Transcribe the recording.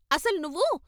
అసలు నువ్వు....